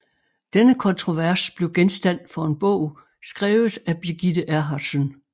Denne kontrovers blev genstand for en bog skrevet af Birgitte Erhardtsen